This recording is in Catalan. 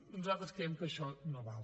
nosaltres creiem que això no val